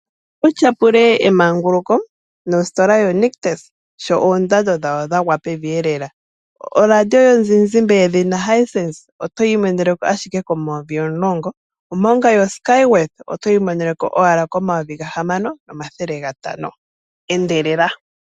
Ila wu tyapule emanguluko nositola yoNictus, sho oondando dhawo dha gwa pevi lela. Oradio yomuzizimba yedhina Hisense oto yi imonene ashike N$ 10 000, omanga yoSkyworth oto yi imonene owala N$ 6500. Endelela!